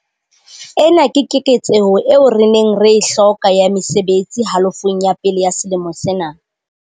Ena ke keketseho eo re neng re e hloka ya mesebetsi halofong ya pele ya selemo sena.